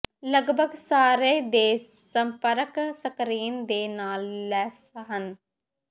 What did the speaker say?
ਲਗਭਗ ਸਾਰੇ ਦੇ ਸੰਪਰਕ ਸਕਰੀਨ ਦੇ ਨਾਲ ਲੈਸ ਹਨ